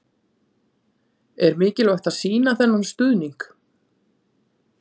Er mikilvægt að sýna þennan stuðning?